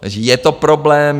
Takže je to problém.